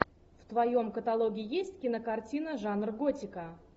в твоем каталоге есть кинокартина жанр готика